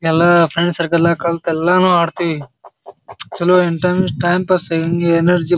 ಎಲ್ಲಾ friends circle ನ್ಯಾಗ್ ಕಲ್ಲತ್ತು ಎಲ್ಲಾನು ಆಡತ್ತಿವಿ ಚಲೋ ಇಂಟೆನ್ಸ್ ಟೈಮ್ ಪಾಸ್ ಹೆಂಗೇ ಎನರ್ಜಿ --